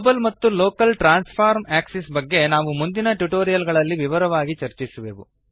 global ಮತ್ತು local transform axis ಬಗ್ಗೆ ನಾವು ಮುಂದಿನ ಟ್ಯುಟೋರಿಯಲ್ ಗಳಲ್ಲಿ ವಿವರವಾಗಿ ಚರ್ಚಿಸುವೆವು